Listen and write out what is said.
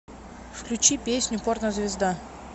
включи песню порнозвезда